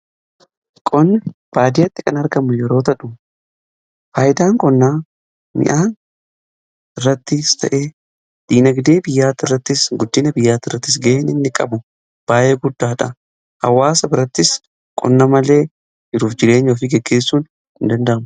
qonni baaddiyatti kan argamu yeroo tahu faayidaan qonnaa mi'aan irratti ta'ee diinagdee biyyaa irrattis guddina biyyaa irrattis ga'en inni qabu baayyee guddaadha. hawaasa birattis qonna malee jiruuf jireenya ofii geggeessuun hin danda'amu.